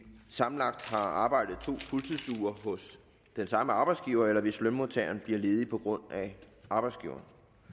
sammenlagt har arbejdet to fuldtidsuger hos samme arbejdsgiver eller hvis lønmodtageren bliver ledig på grund af arbejdsgiveren